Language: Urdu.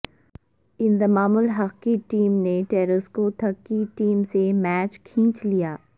انضمام الحق کی ٹیم نے ٹریسکوتھک کی ٹیم سے میچ کھینچ لیا